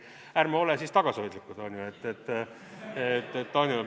Ärme oleme siis tagasihoidlikud, on ju.